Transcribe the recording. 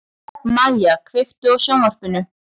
Mæja, kveiktu á sjónvarpinu.